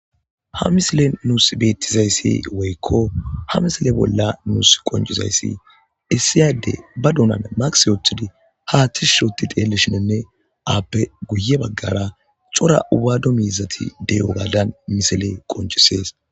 Ha misile nusi betizayisi woyiko ha misile nusi qoncc,isidayi issi adde ba donan maske wotidi ha tishi gidi xelidinne appe guye bagara co,ra wadu mizati deyiga misile qoncises